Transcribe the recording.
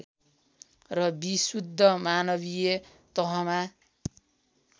र विशुद्ध मानवीय तहमा